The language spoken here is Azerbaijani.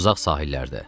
Uzaq Sahillərdə.